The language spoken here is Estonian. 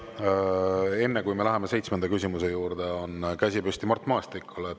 Enne kui me läheme seitsmenda küsimuse juurde, on käsi püsti Mart Maastikul.